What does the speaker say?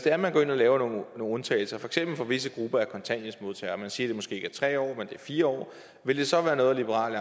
er man går ind og laver nogle undtagelser for eksempel for visse grupper af kontanthjælpsmodtagere og man siger at det måske ikke er tre år men at det er fire år vil det så være noget liberal